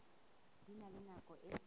di na le nako e